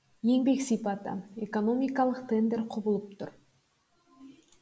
еңбек сипаты экономикалық трендтер құбылып тұр